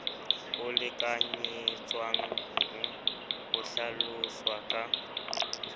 o lekanyetswang o hlaloswa ka